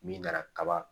Min nana kaba